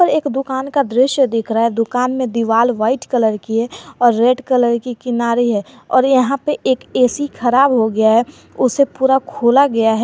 यह एक दुकान का दृश्य दिख रहा है दुकान में दिवाल व्हाइट कलर की है और रेड कलर की किनारी है और यहां पे एक ए_सी खराब हो गया है उसे पूरा खोला गया है।